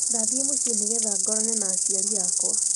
Ndathiĩ mũcii nĩgetha ngorane na aciari akwa